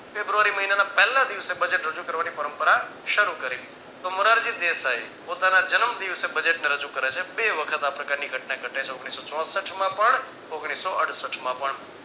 ફેબ્રુઆરી મહિનાના પેહલા દિવસે budget રજુ કરવાની પરંપરા શરૂ કરી તો મોરારજી દેશાઇ પોતાના જન્મ દિવસે budget ને રજુ કરે છે. બે વખત આ પ્રકારની ઘટના ઘટે છે ઓગણીસો ચોસઠમાં પણ ઓગણીસો અડસઠમાં પણ